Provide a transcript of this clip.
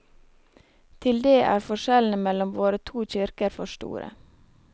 Til det er forskjellene mellom våre to kirker for store.